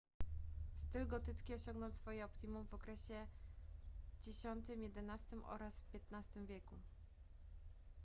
styl gotycki osiągnął swoje optimum w okresie x-xi oraz w xiv wieku